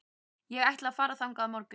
Ég ætla að fara þangað á morgun.